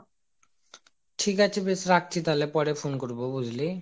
ঠিক আছে বেশ রাখছি তাহলে পরে phone করব বুঝলি